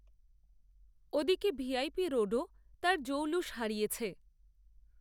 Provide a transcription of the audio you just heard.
ও দিকে V I P রোডও তার জৌলুস হারিয়েছে